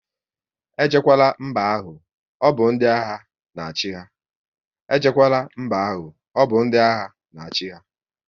E jekwala mba ahụ, ọbụ ndị agha na achị ha!